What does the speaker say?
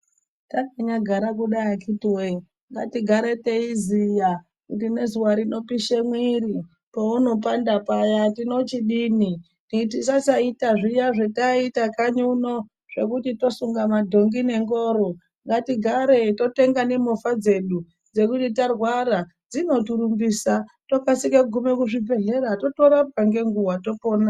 Takanyagara kudai akhiti woye ngatigare teiziya kuti ngezuwa rinopishe mwiri pounopandapaya tinochidini, tisasaita zviya zvataiita kanyi uno zvekuti tosunga madhongi nengoro. Ngatigare totenga nemovha dzedu dzekuti tarwara dzinotirumbisa tokasike kuzvibhehlera totorapwa ngenguwa topona.